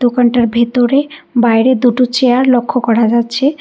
দোকানটার ভিতরে বাইরে দুটো চেয়ার লক্ষ করা যাচ্ছে।